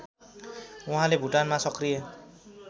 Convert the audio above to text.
वहाँले भुटानमा सक्रिय